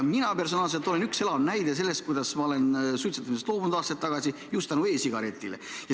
Mina personaalselt olen elav näide: ma suutsin aastaid tagasi suitsetamisest loobuda just tänu e-sigaretile.